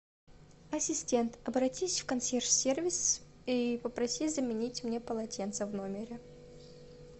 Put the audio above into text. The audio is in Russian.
ассистент обратись в консьерж сервис и попроси заменить мне полотенца в номере